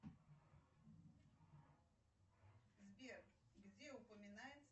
сбер где упоминается